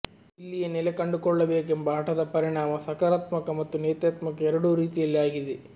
ಇಲ್ಲಿಯೇ ನೆಲೆ ಕಂಡುಕೊಳ್ಳಬೇಕೆಂಬ ಹಟದ ಪರಿಣಾಮ ಸಕಾರಾತ್ಮಕ ಮತ್ತು ನೇತ್ಯಾತ್ಮಕ ಎರಡೂ ರೀತಿಯಲ್ಲಿ ಆಗಿದೆ